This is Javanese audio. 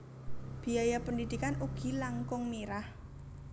Biaya pendidikan ugi langkung mirah